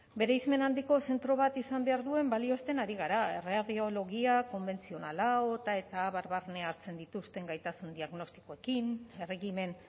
bereizmen handiko zentro bat izan behar duen balioesten ari gara radiologia konbentzionala eta abar barne hartzen dituzten gaitasun diagnostikoekin erregimen